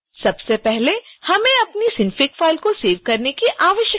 सबसे पहले हमें अपनी synfig फाइल को सेव करने की आवश्यकता होती है